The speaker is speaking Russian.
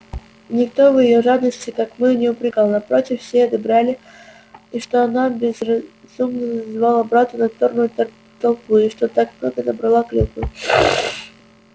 никто её в жадности как мы не упрекал напротив все одобряли и что она благоразумно звала брата на торную тропу и что так много набрала клюквы